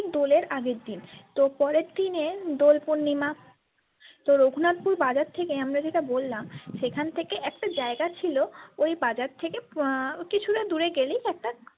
ঠিক দোলের আগের দিন তো পরের দিনে দোলপূর্ণিমা তো রঘুনাথপুর বাজার থেকে আমরা যেটা বললাম সেখান থেকে একটা জায়গা ছিল ওই বাজার থেকে কিছুটা দূরে গেলেই একটা।